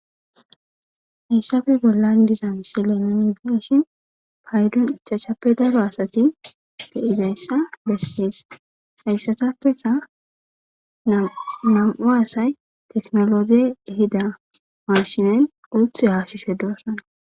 Haiysappe bollani deiya misileni nu beishini paydoni ichashape darro asati bessesi. Hayisatappe namu'u assayi tekenolegeyi ehida mashineni uthi hashishe deo'sona